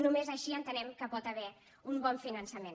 només així entenem que hi pot haver un bon finançament